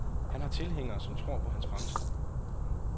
Han har tilhængere, som tror på hans fremtid.